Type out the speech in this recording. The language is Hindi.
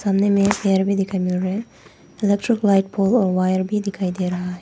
सामने में एक स्टयेर भी देखने को मिल रहा है। इलेक्ट्रिक लाइट पोल और वायर भी दिखाई दे रहा है।